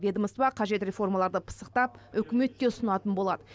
ведомство қажет реформаларды пысықтап үкіметке ұсынатын болады